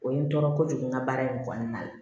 O ye n tɔɔrɔ kojugu n ka baara in kɔnɔna la